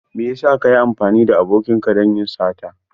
Mai yasa ka yi amfani da abokinka don yin sata?